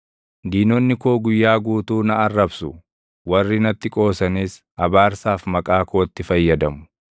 Diinonni koo guyyaa guutuu na arrabsu; warri natti qoosanis abaarsaaf maqaa kootti fayyadamu.